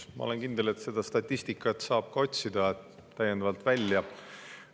Ma olen kindel, et seda statistikat saab täiendavalt välja otsida.